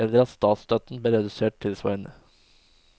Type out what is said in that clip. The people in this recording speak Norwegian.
Eller at statsstøtten ble redusert tilsvarende.